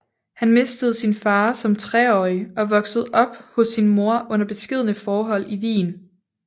Han mistede sin far som treårig og voksede op hos sin mor under beskedne forhold i Wien